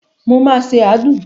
Mo máa ṣe àádùn.